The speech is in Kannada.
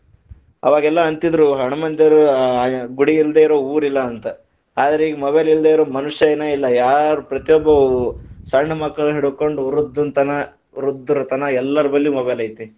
ಅವಾಗೆಲ್ಲಾ ಅಂತಿದ್ರು ಹಣಮಂತರ ದೇವರು ಗುಡಿ ಇಲ್ದೆ ಇರೊ ಊರಿಲ್ಲಾ ಅಂತ, ಅದ್ರ ಇಗಾ mobile ಇಲ್ದೆ ಇರೊ ಮನುಷ್ಯನ ಇಲ್ಲಾ, ಯಾರು ಪ್ರತಿಯೊಬ್ಬ ಸಣ್ಣ ಮಕ್ಕಳನ್ನ ಹಿಡಕೊಂಡ ವೃದ್ಧನ ತನಾ ವೃದ್ಧರ ತನಾ ಎಲ್ಲರಲ್ಲಿ mobile ಐತಿ.